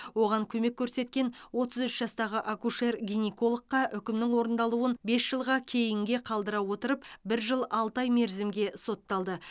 оған көмек көрсеткен отыз үш жастағы акушер гинекологқа үкімнің орындалуын бес жылға кейінге қалдыра отырып бір жыл алты ай мерзімге сотталды